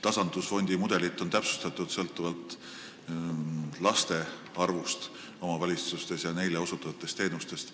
Tasandusfondi mudelit on täpsustatud sõltuvalt laste arvust omavalitsustes ja neile osutatavatest teenustest.